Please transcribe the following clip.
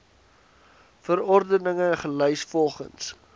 verordeninge gelys volgens